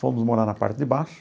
Fomos morar na parte de baixo.